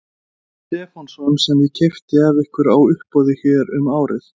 Stefánsson sem ég keypti af ykkur á uppboði hér um árið.